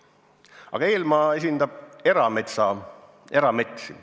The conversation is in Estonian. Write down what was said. Aga Eelmaa esindab erametsi.